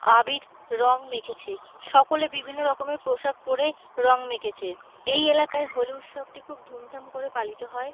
আবির রং মেখেছে। সকলে বিভিন্ন রকম পোশাক পরে রং মেখেছে। এই এলাকায় হোলি উৎসবটি খুব ধুমধাম করে পালিত হয়।